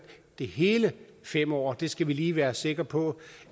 det hele fem år det skal vi lige være sikre på